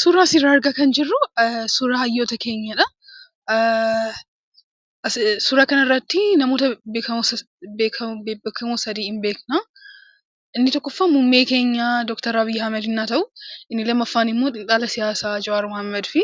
Suura asirran argaatin jirru suura hayyoota keenyaadha. Suura kanarratti namoota bebbeekamoo sadii hin beekna. Inni tokkoffaan muummee keenya Dooktar Abiyyi Ahimad yemmuu ta'u, inni lammaffaa ammoo qondaala siyaasaa Jawaar Mohaammadi,